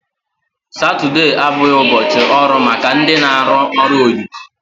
Satude abụghị ụbọchị ọrụ maka ndị na arụ ọrụ oyibo